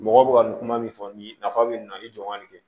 Mɔgɔ bɛ ka nin kuma min fɔ nin ye nafa bɛ nin na i jɔ n ka nin kɛ